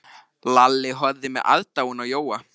Lalli horfði með aðdáun á Jóa.